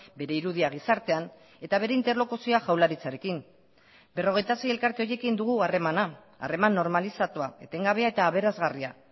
bere irudia gizartean eta bere interlokuzioa jaurlaritzarekin berrogeita sei elkarte horiekin dugu harremana harreman normalizatua etengabea eta aberasgarria